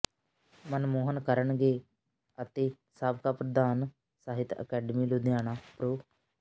ਮਨਮੋਹਨ ਕਰਨਗੇ ਅਤੇ ਸਾਬਕਾ ਪ੍ਰਧਾਨ ਸਾਹਿਤ ਅਕਾਦਮੀ ਲੁਧਿਆਣਾ ਪ੍ਰੋ